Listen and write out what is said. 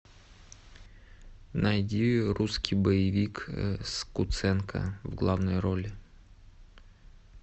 найди русский боевик с куценко в главной роли